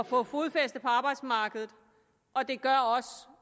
få fodfæste på arbejdsmarkedet og det gør også